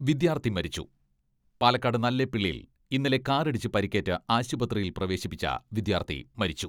വിദ്യാർത്ഥി മരിച്ചു പാലക്കാട് നല്ലേപ്പിള്ളിയിൽ ഇന്നലെ കാറിടിച്ച് പരിക്കേറ്റ ആശുപത്രിയിൽ പ്രവേശിപ്പിച്ച വിദ്യാർത്ഥി മരിച്ചു.